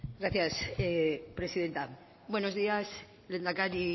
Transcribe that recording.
gracias presidenta buenos días lehendakari